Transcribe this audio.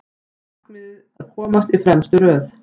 Markmiðið að komast í fremstu röð